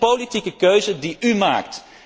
Dat is een politieke keuze die u maakt.